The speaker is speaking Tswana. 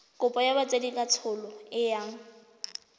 kopo ya botsadikatsholo e yang